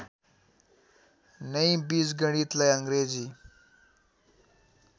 नै बीजगणितलाई अङ्ग्रेजी